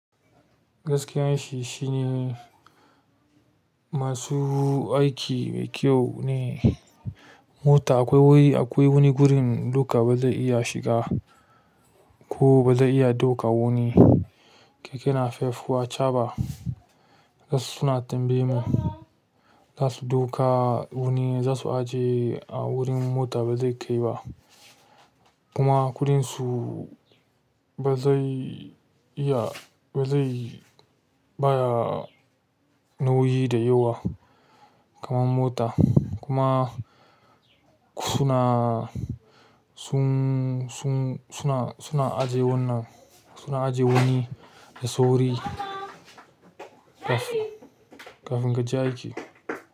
Gaskiyan shi shine, masu aiki mai kyau ne. Mota akwai wuri, akwai wani gurin doka ba zai iya shiga ko ba zai iya ɗauka wa nii. Keke napep ko achaɓa. Zasu suna tambaye mu, za su ɗauka wuni za su aje a wurin mota ba zai kai ba. Kuma kuɗinsu ba zai iya, ba zai bayawa nauyi da yawa kaman mota. Kuma suna, su. Suna, suna ajiye wannan, suna ajiye wani da sauri kafi, kafin kaje aiki.